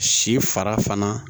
Si fara fana